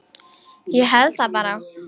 Ég held það bara.